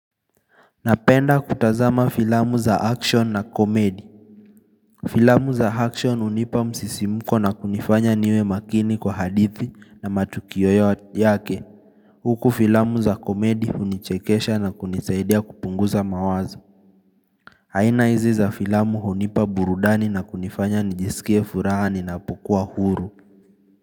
Napenda kutazama filamu za action na comedy. Filamu za action hunipa msisimuko na kunifanya niwe makini kwa hadithi na matukio yake. Huku filamu za comedy hunichekesha na kunisaidia kupunguza mawazo. Haina hizi za filamu hunipa burudani na kunifanya nijisikie furaha ninapokuwa huru.